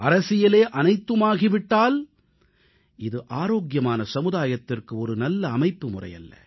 அரசியலே அனைத்துமாகி விட்டால் இது ஆரோக்கியமான சமுதாயத்திற்கு ஒரு நல்ல அமைப்புமுறை அல்ல